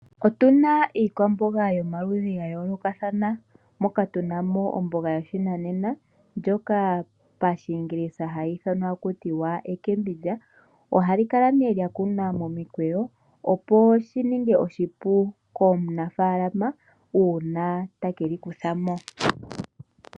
Otuna iikwamboga yomaludhi ga yoolokathana, moka tunamo omboga yoshinanena ndjoka pashingilisa hayi ithanwa taku tiwa ecabbage. Ohali kala ne lya kunwa momikweyo opo shi ninge oshipu kumunafaalama uuna ta keli kuthamo.